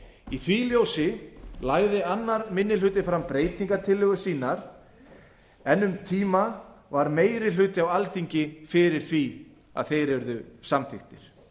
í því ljósi lagði annar minni hluti fram breytingartillögur sínar en um tíma var meiri hluti á alþingi fyrir því að þeir yrðu samþykktir